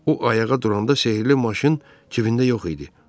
O ayağa duranda sehrli maşın cibində yox idi.